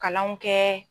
Kalanw kɛ